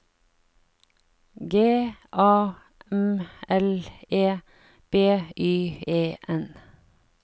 G A M L E B Y E N